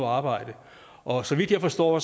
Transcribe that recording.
arbejde og så vidt jeg forstår